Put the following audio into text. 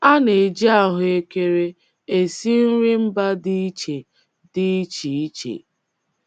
A na-eji ahụekere esi nri mba dị iche dị iche iche.